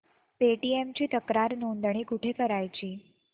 Paytm ची तक्रार नोंदणी कुठे करायची